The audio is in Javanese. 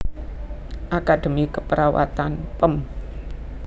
Akademi Keperawatan Pem